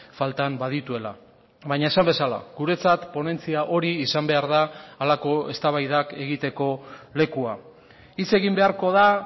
faltan badituela baina esan bezala guretzat ponentzia hori izan behar da halako eztabaidak egiteko lekua hitz egin beharko da